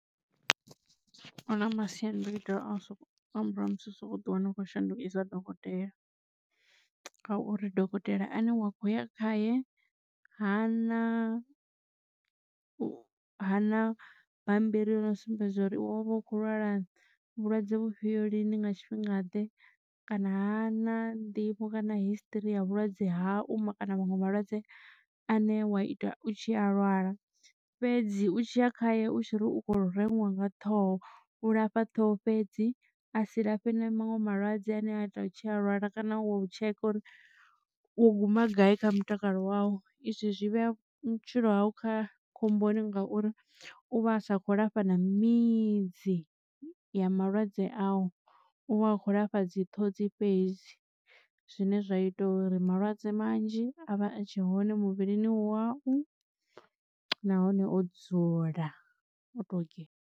Hu na masiandoitwa a u soko nga murahu ha musi u sokou ḓiwana u khou shandukisa dokotela, ngauri dokotela ane wa khoya khaye ha na u ha na bammbiri yo no sumbedza uri wavha u kho lwala vhulwadze vhufhio lini nga tshifhinga ḓe kana hana nḓivho kana history ya vhulwadze hau ma kana vhaṅwe malwadze ane wa ita u tshi a lwala. Fhedzi u tshiya khaye u tshi ri u kho reṅwa nga ṱhoho u lafha ṱhoho fhedzi a si lafhiwe na maṅwe malwadze ane a tea u tshi a lwala kana u tsheka uri u guma gai kha mutakalo wau. Izwi zwi vhea vhutshilo hau kha khomboni ngauri u vha sa kho lafha na midzi ya malwadze a u u vha a kho lafha dzi ṱhodzi fhedzi zwine zwa ita uri malwadze manzhi a vha a tshe hone muvhilini wau nahone o dzula o dzula oto .